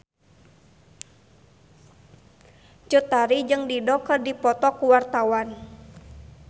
Cut Tari jeung Dido keur dipoto ku wartawan